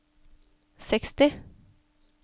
seksti